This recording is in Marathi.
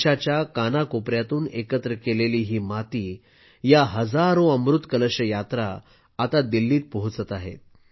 देशाच्या कानाकोपऱ्यातून एकत्र केलेली ही माती या हजारो अमृत कलश यात्रा आता दिल्लीत पोहोचत आहेत